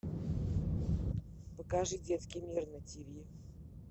покажи детский мир на тв